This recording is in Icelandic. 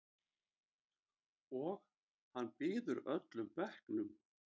Og hann býður öllum bekknum.